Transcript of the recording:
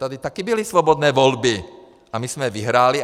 Tady také byly svobodné volby a my jsme je vyhráli.